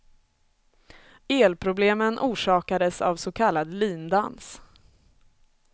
Elproblemen orsakades av så kallad lindans.